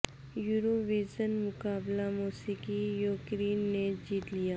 euro vision مقابلہ موسیقی Ukraine نے جیت لیا